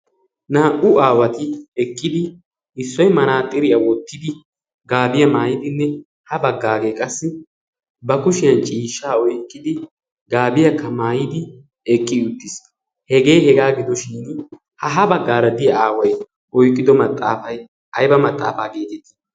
Naa"u aawati eqqidi issoy manaaxiriya wottidi gaabiya maayidinne ha baggaagee qassi ba kushiyan ciishshaa oyiqqidi gaabiyakka maayidi eqqi uttis. Hegee hegaa gido shin ha ha baggaara diya aaway oyqqido maxaafay ayba maxaafaa geetettii?